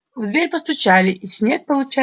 в дверь постучали и снегг излучая счастье отпер её